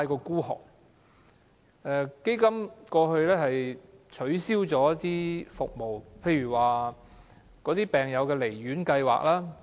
基金過去取消了一些服務，例如病友離院服務。